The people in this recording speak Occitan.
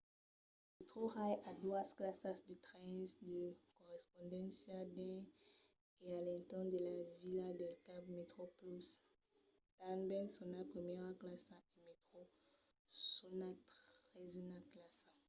metrorail a doas classas de trens de correspondéncia dins e a l'entorn de la vila del cap: metroplus tanben sonat primièra classa e metro sonat tresena classa